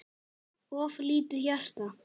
of lítið hjarta